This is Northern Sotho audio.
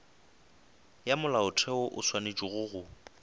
ya molaotheo o swanetše go